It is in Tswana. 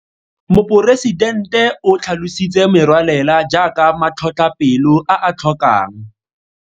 Moporesidente o tlhalositse merwalela jaaka matlhotlhapelo a a tlhokang.